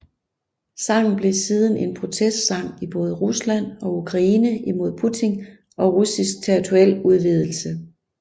Sangen blev siden en protestsang i både Rusland og Ukraine imod Putin og russisk territorialudvidelse